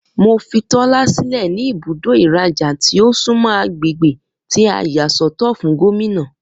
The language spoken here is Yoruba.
Mo fí Tólá sílẹ̀ ní ibùdó ìrajà tí o sunmọ agbègbè tí a yà sọ́tọ̀ fún Gómìnà